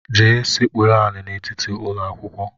Jee sekpuru ala n'etiti ụlọakwụkwọ!